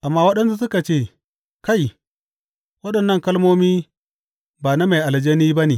Amma waɗansu suka ce, Kai, waɗannan kalmomi ba na mai aljani ba ne.